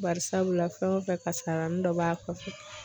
Bari sabula fɛn o fɛn kasaranin dɔ b'a kɔfɛ.